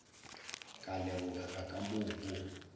ka lebogega ka moo go